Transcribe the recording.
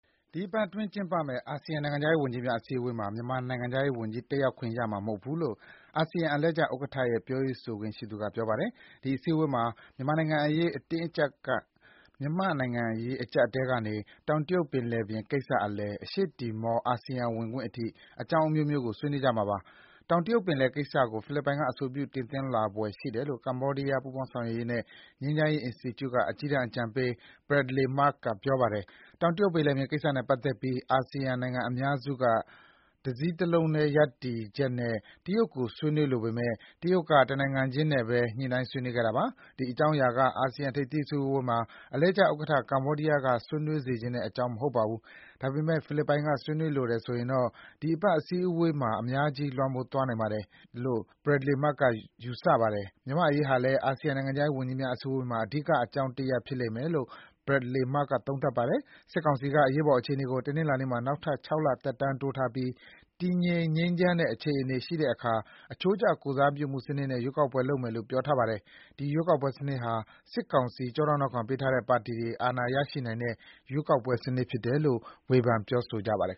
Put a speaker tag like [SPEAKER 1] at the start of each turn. [SPEAKER 1] ဒီအပတ်အတွင်းကျင်းပမယ့် အာဆီယံနိုင်ငံခြားရေးဝန်ကြီးများ အစည်းအဝေးမှာ မြန်မာနိုင်ငံခြားရေးဝန်ကြီး တက်ရောက်ခွင့်ရမှာမဟုတ်ဘူးလို့ အာဆီယံ အလှည့်ကျဥက္ကဋ္ဌရဲ့ ပြောရေးဆိုခွင့်ရှိသူက ပြောပါတယ်။ ဒီ အစည်းအဝေးမှာ မြန်မာ့နိုင်ငံရေးအကျပ်အတည်းကနေ တောင်တရုတ်ပင်လယ်ကိစ္စအလယ်၊ အရှေ့တီမော အာဆီယံဝင်ခွင့်အထိ အကြောင်းအမျိုးမျိုး ကို ဆွေးနွေးကြမှာ ဖြစ်ပါတယ်။ တောင်တရုတ်ပင်လယ်ကိစ္စကို ဖိလစ်ပိုင်က အဆိုပြုတင်သွင်းလာဖွယ်ရှိတယ်လို့ ကမ္ဘောဒီးယား ပူးပေါင်းဆောင်ရွက်ရေးနဲ့ ငြိမ်းချမ်းရေးအင်စတီကျုက အကြီးတန်း အကြံပေး Bradley Murg က ထင်မြင်ပါတယ်။ တောင်တရုတ်ပင်လယ်ပြင်ကိစ္စနဲ့ပတ်သက်ပြီး အာဆီယံနိုင်ငံအများစုက တစည်းတလုံး ရပ်တည်ချက်နဲ့ တရုတ်ကို ဆွေးနွေးလိုပေမယ့် တရုတ်က တနိုင်ငံချင်းနဲ့ပဲ ညှိုနှိုင်းဆွေးနွေးခဲ့တာပါ။ ဒီ အကြောင်းအရာက အာဆီယံ ထိပ်သီး အစည်းအဝေးမှာ အလှည့်ကျဥက္ကဋ္ဌ ကမ္ဘာဒီးယားက ဆွေးနွေးစေချင်တဲ့အကြောင်း မဟုတ်ပါဘူး။ ဒါပေမယ့် ဖိလစ်ပိုင်က ဆွေးနွေးလိုတယ်ဆိုရင်တော့ ဒီအပတ်အစည်းအဝေးမှာ အများကြီး လွှမ်းမိုးသွားနိုင်ပါတယ်- လို့ Bradley Murg က ယူဆပါတယ်။ မြန်မာ့အရေးဟာလည်း အာဆီယံ နိုင်ငံခြားရေးဝန်ကြီးများအစည်းအဝေးမှာ အဓိက အကြောင်းတရပ် ဖြစ်လိမ့်မယ်လို့ Bradley Murg က သုံးသပ်ပါတယ်။ စစ်ကောင်စီက အရေးပေါ်အခြေအနေကို တနင်္လာနေ့မှာ နောက်ထပ် ၆ လ သက်တမ်းတိုးထားပြီး တည်ငြိမ် ငြိမ်းချမ်းတဲ့အခြေအနေရှိတဲ့အခါ အချိုးကျ ကိုယ်စားပြုမှုစနစ်နဲ့ ရွေးကောက်ပွဲလုပ်မယ်လို့ ပြောထားပါတယ်။ ဒီ ရွေးကောက်ပွဲစနစ်ဟာ စစ်ကောင်စီ ကျောထောက်နောက်ခံပေးထားတဲ့ ပါတီတွေ အာဏာရရှိနိုင်တဲ့ ရွေးကောက်ပွဲစနစ်ဖြစ်တယ်လို့ ဝေဖန်သူတွေက ဆိုကြပါတယ်